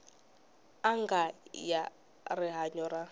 n anga ya rihanyu ra